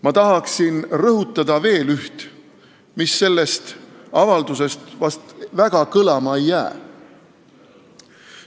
Ma tahaksin rõhutada veel üht, mis sellest avaldusest vast väga kõlama ei jää.